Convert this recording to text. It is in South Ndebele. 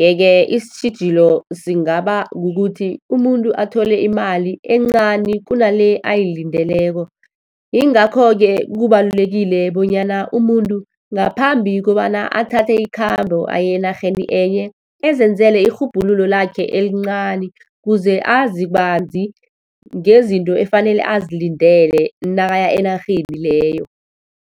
Yeke, isitjhijilo singaba kukuthi umuntu athole imali encani kunale ayilindeleko. Yingakho-ke kubalulekile bonyana umuntu ngaphambi kobana athathe ikhambo aye enarheni enye, azenzelwe irhubhululo lakhe elincani, kuze azi banzi, ngezinto efanele azilindele nakaya enarheni leyo.